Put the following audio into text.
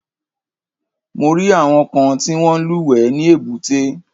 Mo rí àwọn kan tí wọ́n ń lúwẹ̀ẹ́ ní èbúté.